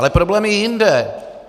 Ale problém je jinde.